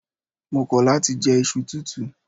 Mo kọ̀ láti je iṣu tútù.